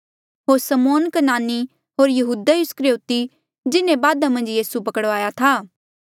होर यहूदा इस्करयोति जिन्हें बादा मन्झ यीसू पकड़वाया था